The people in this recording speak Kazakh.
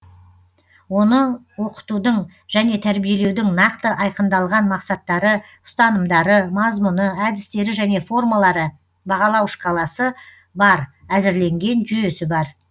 оның оқытудың және тәрбиелеудің нақты айқындалған мақсаттары ұстанымдары мазмұны әдістері және формалары бағалау шкаласы бар әзірленген жүйесі бар